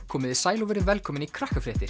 komiði sæl og verið velkomin í